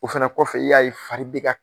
O fana kɔfɛ i y'a ye fari bɛ ka